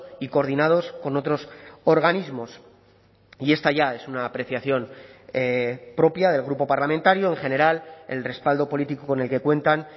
y coordinados con otros organismos y esta ya es una apreciación propia del grupo parlamentario en general el respaldo político con el que cuentan